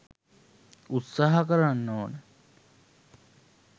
උත්සාහ කරන්න ඕන.